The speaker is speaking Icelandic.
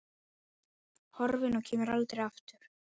Horfin og kemur aldrei aftur.